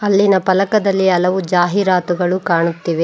ಇಲ್ಲಿನ ಫಲಕದಲ್ಲಿ ಹಲವು ಜಾಹೀರಾತುಗಳು ಕಾಣುತ್ತಿವೆ.